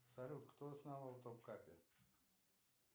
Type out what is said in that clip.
салют кто основал топ капер